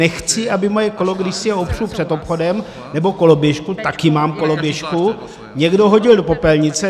Nechci, aby moje kolo, když si ho opřu před obchodem, nebo koloběžku - taky mám koloběžku - někdo hodil do popelnice.